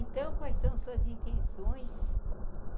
Então, quais são suas intenções?